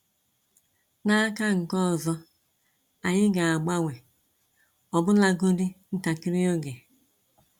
N'aka nke ọzọ, anyị ga agbanwe, ọ bụla godi ntakịrị oge.